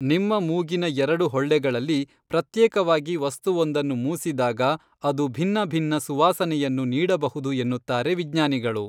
ನಿಮ್ಮ ಮೂಗಿನ ಎರಡು ಹೊಳ್ಳೆಗಳಲ್ಲಿ ಪ್ರತ್ಯೇಕವಾಗಿ ವಸ್ತುವೊಂದನ್ನು ಮೂಸಿದಾಗ ಅದು ಭಿನ್ನ ಭಿನ್ನ ಸುವಾಸನೆಯನ್ನು ನೀಡಬಹುದು ಎನ್ನುತ್ತಾರೆ ವಿಜ್ಞಾನಿಗಳು